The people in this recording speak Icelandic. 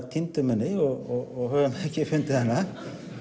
týndum henni og höfum ekki fundið hana